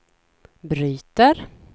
bryter